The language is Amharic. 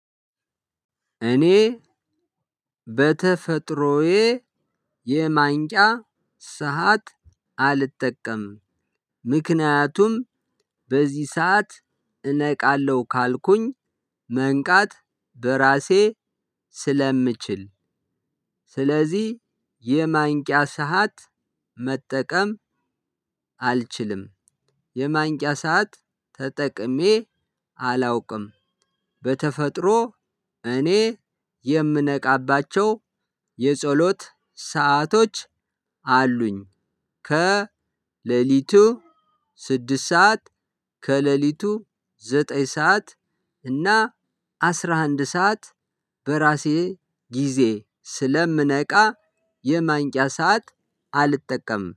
እኔ በተፈጥሮዬ የማንቅያ ሰዓት አልጠቀም ምክንያቱም በዚህ ሰዓት እነቃለሁ ካልኩኝ መንቃት በራሴ ስለምችል። ስለዚህ የማንቂያ ሰዓት መጠቀም አልችልም። የማንቂያ ሰዓት ተጠቅሜ አላውቅም። በተፈጥሮ እኔ የምነቃባቸው የጸሎት ሰአቶች አሉኝ። ከሌሊቱ ስድስት ሰዓት ከሌሊቱ ዘጠኝ ሰዓት እና አስራ አንድ ሰዓት በራሴ ጊዜ ስለምነቃ የማንቅያ ሰዓት አልጠቀምም